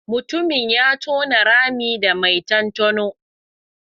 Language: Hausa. Mutumin ya tona rami da mai ton tonon.